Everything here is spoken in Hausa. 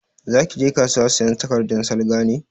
Za ki je kasuwa sayan takardan salga ne?